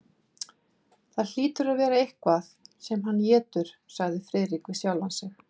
Það hlýtur að vera eitthvað sem hann étur, sagði Friðrik við sjálfan sig.